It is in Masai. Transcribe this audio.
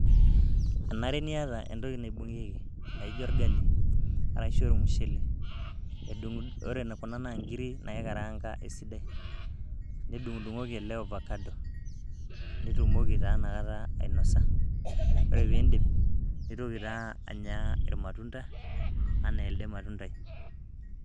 Enare niata entoki naibungieki naijo orgali arashu ormshele . ore kuna naa nkiri naikaranga esidai nidungdngoki ele ovacado nitumoki taa ina kata ainosa .ore pindip nintoki taa anya irmatunda anaa elde matundai.